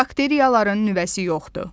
Bakteriyaların nüvəsi yoxdur.